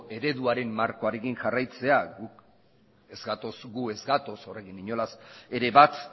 ereduaren markoarekin jarraitzea gu ez gatoz horrekin inolaz ere bat